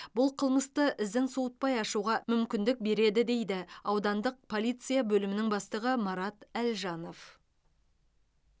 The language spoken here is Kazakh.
бұл қылмысты ізін суытпай ашуға мүмкіндік береді дейді аудандық полиция бөлімінің бастығы марат әлжанов